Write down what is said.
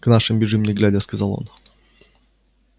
к нашим бежим не глядя сказал он